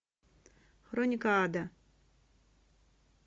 хроника ада